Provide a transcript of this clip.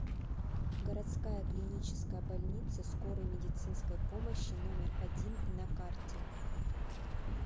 городская клиническая больница скорой медицинской помощи номер один на карте